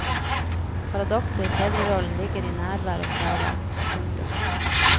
Paradokset i fedrerollen ligger i nærvær og fravær. punktum